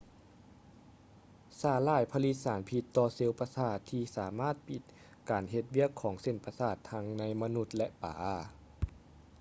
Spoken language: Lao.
ສາຫຼ່າຍຜະລິດສານພິດຕໍ່ເຊວປະສາດທີ່ສາມາດປິດການເຮັດວຽກຂອງເສັ້ນປະສາດທັງໃນມະນຸດ ແລະ ປາ